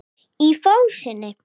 Í fásinni